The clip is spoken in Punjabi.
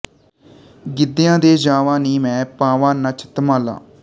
ਗਿੱਧਿਆਂ ਦੇ ਜਾਵਾਂ ਨੀ ਮੈਂ ਪਾਵਾਂ ਨੱਚ ਧਮਾਲਾਂ